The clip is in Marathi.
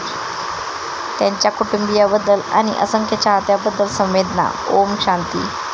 त्याच्या कुटुंबियांबद्दल आणि असंख्य चाहत्यांबद्दल संवेदना ओम शांती.